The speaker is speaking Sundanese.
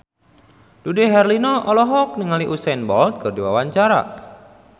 Dude Herlino olohok ningali Usain Bolt keur diwawancara